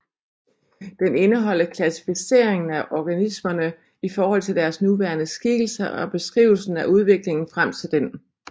Den indeholder klassificeringen af organismerne i forhold til deres nuværende skikkelse og beskrivelsen af udviklingen frem til den